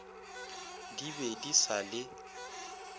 di be di sa le